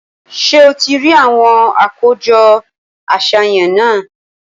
Ṣé o ti rí àwọn àkójọ àṣàyàn náà?